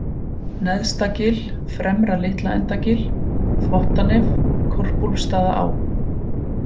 Neðstagil, Fremra Litlaendagil, Þvottanef, Korpúlfsstaðaá